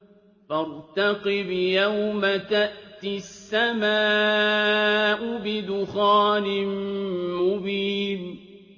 فَارْتَقِبْ يَوْمَ تَأْتِي السَّمَاءُ بِدُخَانٍ مُّبِينٍ